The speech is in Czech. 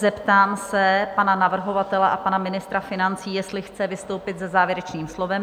Zeptám se pana navrhovatele a pana ministra financí, jestli chce vystoupit se závěrečným slovem?